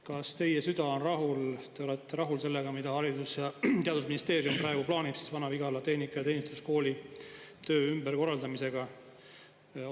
Kas teie süda on rahul, te olete rahul sellega, mida Haridus‑ ja Teadusministeerium praegu plaanib Vana-Vigala Tehnika‑ ja Teeninduskooli töö ümberkorraldamisega?